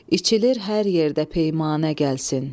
İçilir hər yerdə peymanə, gəlsin.